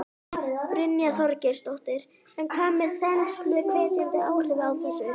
Brynja Þorgeirsdóttir: En hvað með þensluhvetjandi áhrifin af þessu?